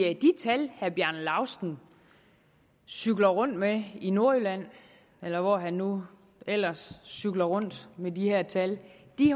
tal herre bjarne laustsen cykler rundt med i nordjylland eller hvor han nu ellers cykler rundt med de her tal